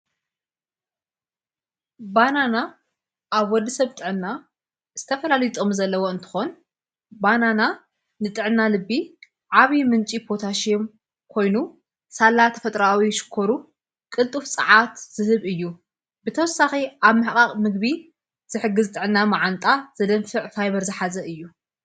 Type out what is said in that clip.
ባናና ኣብ ወዲ ሰብ ጥዕና ዝተፈላለየ ጥቅሚ ዘለዎ እንተኾን ባናና ንጥዕና ልቢ ዓብ ምንጭ ፖታሽዮም ኮይኑ ሳላ ተፈጥራዊ ሽኰሩ ቕልጡፍ ፀዓት ዝህብ እዩ ብተወሳኺ ኣብ ምሕቓቕ ምግቢ ዘሕግዝጥዕና መዓንጣ ዘደንፍዕ ፋይበር ዝኃዘ እዩ::